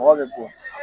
Mɔgɔ bɛ bon